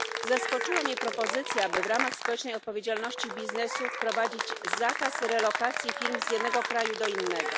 Zaskoczyła mnie propozycja, by w ramach społecznej odpowiedzialności biznesu wprowadzić zakaz relokacji firm z jednego kraju do innego.